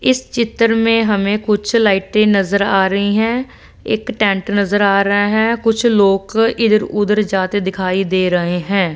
इस चित्र में हमें कुछ लाइटे नजर आ रही हैं एक टेंट नजर आ रहा है कुछ लोग इधर उधर जाते दिखाई दे रहे हैं।